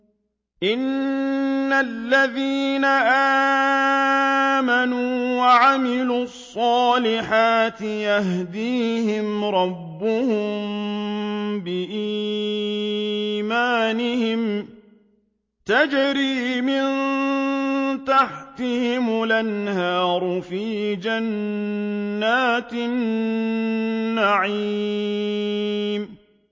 إِنَّ الَّذِينَ آمَنُوا وَعَمِلُوا الصَّالِحَاتِ يَهْدِيهِمْ رَبُّهُم بِإِيمَانِهِمْ ۖ تَجْرِي مِن تَحْتِهِمُ الْأَنْهَارُ فِي جَنَّاتِ النَّعِيمِ